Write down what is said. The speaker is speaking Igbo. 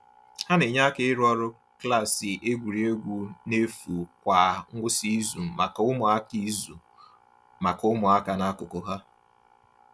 Ha na-enye aka ịrụ ọrụ klaasị egwuregwu n’efu kwa ngwụsị izu maka ụmụaka izu maka ụmụaka n’akụkụ ha.